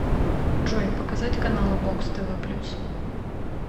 джой показать каналы бокс тв плюс